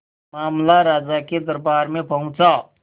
मामला राजा के दरबार में पहुंचा